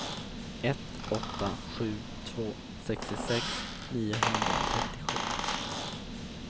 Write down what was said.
ett åtta sju två sextiosex niohundratrettiosju